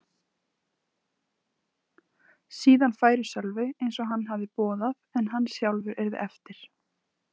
Síðan færi Sölvi eins og hann hafði boðað en hann sjálfur yrði eftir.